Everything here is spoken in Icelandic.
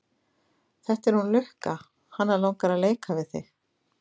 Þetta er hún Lukka, hana langar að leika við þig.